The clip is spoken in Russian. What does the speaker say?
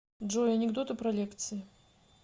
джой анекдоты про лекции